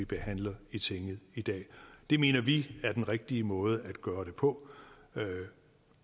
behandler i tinget i dag det mener vi er den rigtige måde at gøre det på